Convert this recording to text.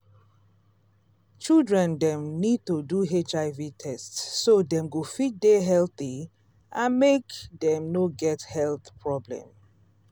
children dem need to do hiv test so dem go fit dey healthy and make dem no get health problem